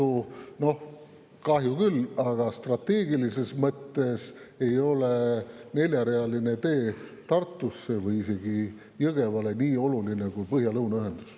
Ja noh, kahju küll, aga strateegilises mõttes ei ole neljarealine tee Tartusse või isegi Jõgevale nii oluline kui põhja ja lõuna ühendus.